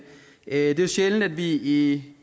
det er jo sjældent at vi i